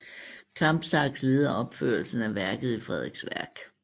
Kampsax leder opførelsen af værket i Frederiksværk